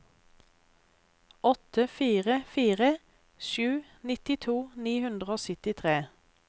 åtte fire fire sju nittito ni hundre og syttitre